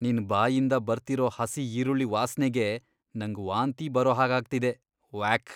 ನಿನ್ ಬಾಯಿಂದ ಬರ್ತಿರೋ ಹಸಿ ಈರುಳ್ಳಿ ವಾಸ್ನೆಗೆ ನಂಗ್ ವಾಂತಿ ಬರೋ ಹಾಗಾಗ್ತಿದೆ, ವ್ಯಾಕ್..!